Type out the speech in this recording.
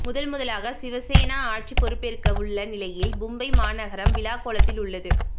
முதல் முதலாக சிவசேனா ஆட்சி பொறுப்பேற்கவுள்ள நிலையில் மும்பை மாநகரம் விழாக்கோலத்தில் உள்ளது